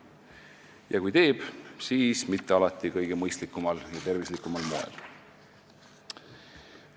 Ja kui teeb, siis mitte alati kõige mõistlikumal ja tervislikumal moel.